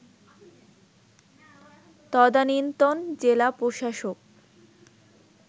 তদানীন্তন জেলা প্রশাসক